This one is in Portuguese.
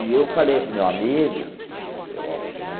E eu falei para o meu amigo, que o Alcione.